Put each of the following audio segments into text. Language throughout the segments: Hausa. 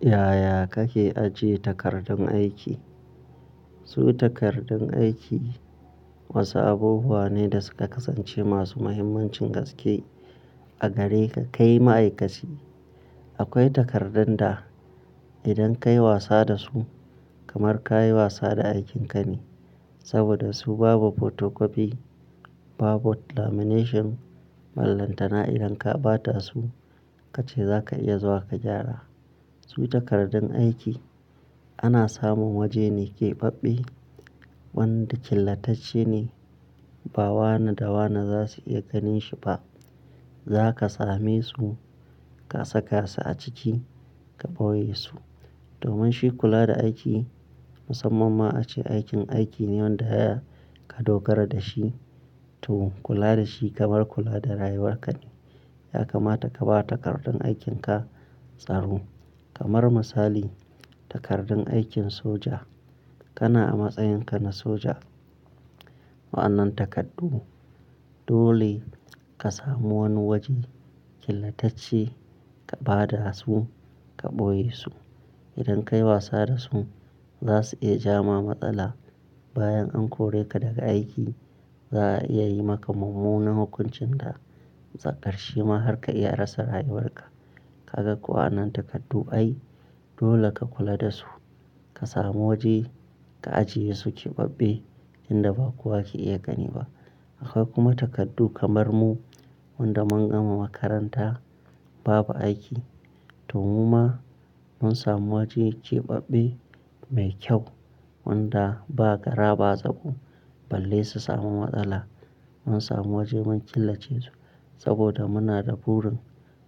Yaya kake ajiye takardun aiki? Su takardun aiki wasu abubuwa ne da suka kasance masu muhimmancin gaske a gare ka kai ma'aikaci. Akwai takardun da idan ka yi wasa da su kamar ka yi wasa da aikinka ne, saboda su babu photocopy, babu lamination, ballantana idan ka ba ta su kace za ka iya zuwa ka gyara. Su takardun aiki ana samun waje ne keɓaɓɓe wanda killatacce ne, ba wane da wane za su iya ganin shi ba. Za ka same su ka saka su a ciki ka ɓoye su. Domin shi kula da aiki musamman ma ace aikin aiki ne wanda ya ka dogara da shi to kula da shi kamar kula da rayuwar ka ne. Ya kamata ka ba takardun aikin ka tsaro. Kamar misali takardun aikin soja, kana a matsayin ka na soja. Wa'anan takardu dole ka samu wani waje killatacce ka ba da su ka ɓoye su. Idan ka yi wasa da su za su iya ja ma matsala bayan an kore ka daga aiki. Za a iya yi maka mummunan hukuncin da tsakar shi ma har ka iya rasa rayuwar ka. Kaga kowa nan takardu ai dole ka kula da su. Ka samu waje ka ajiye su keɓaɓɓe inda ba kowa ke iya gani ba. Akwai kuma takardu kamar mu wanda mun gama makaranta babu aiki to mu ma mun samu waje keɓaɓɓe mai kyau wanda ba gara ba zago balle su samu matsala. Mun samu waje mun killace su saboda muna da burin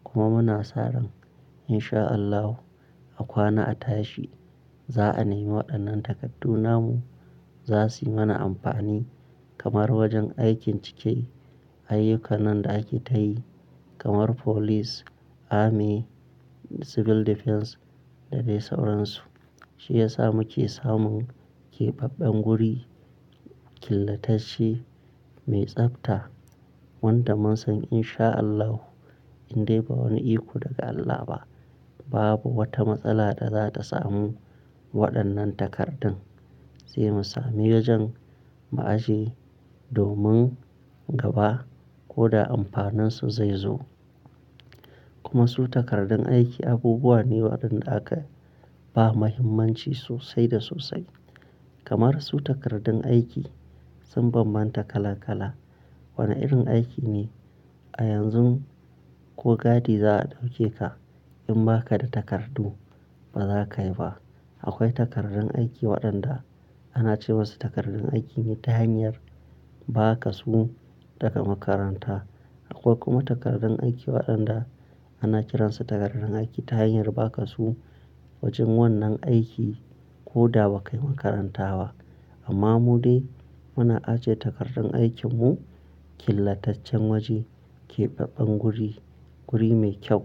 kuma muna sa ran in sha Allahu a kwana a tashi za a nemi waɗannan takardu namu. Za suyi mana amfani kamar wajen aikin cike ayyukan nan da ake tayi kamar police, army, civil defence da dai sauransu. Shi ya sa muke samun keɓaɓɓen guri killatacce mai tsafta wanda mun san in sha Allahu in dai ba wani iko daga Allah ba, babu wata matsala da za ta samu waɗannan takardun. Zai mu sami wajen mu aje domin gaba ko da amfanin su zai zo. Kuma su takardun aiki abubuwa ne waɗanda aka ba muhimmanci sosai da sosai. Kamar su takardun aiki sun bambanta kala kala. Wane irin aiki ne a yanzun ko gadi za a ɗauke ka in ba ka da takardu ba za ka yi ba. Akwai takardun aiki waɗanda ana ce musu takardun aiki ne ta hanyar ba ka su daga makaranta. Akwai kuma takardun aiki waɗanda ana kiransu takardun aiki ta hanyar ba ka su wajen wannan aiki ko da ba ka yi makaranta ba. Amma mu dai muna ajiye takardun aikin mu killataccen waje keɓaɓɓen guri, guri mai kyau.